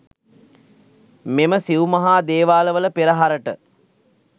මෙම සිව් මහා දේවාලවල පෙරහරට